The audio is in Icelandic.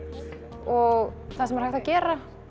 og það sem er hægt að gera